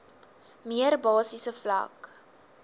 mees basiese vlak